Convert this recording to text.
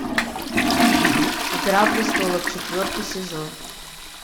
игра престолов четвертый сезон